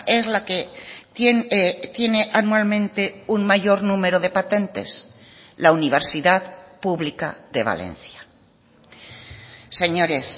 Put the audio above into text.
es la que tiene anualmente un mayor número de patentes la universidad pública de valencia señores